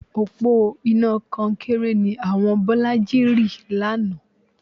Òpó iná kọnkéré ni àwọn Bọ́lájí rì lánàá